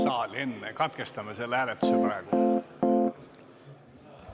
Kas katkestada?